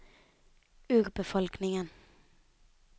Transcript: urbefolkningen